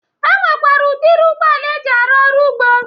E nwekwere udiri ụgbọala eji arụ ọrụ ugbo.